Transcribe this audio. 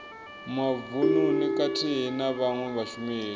mavununi khathihi na vhawe vhashumeli